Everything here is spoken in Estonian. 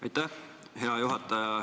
Aitäh, hea juhataja!